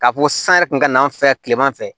K'a fɔ ko san yɛrɛ kun ka n'an fɛ kileman fɛ